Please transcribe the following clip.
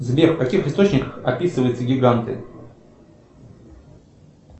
сбер в каких источниках описываются гиганты